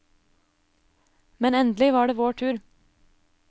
Men endelig var det vår tur.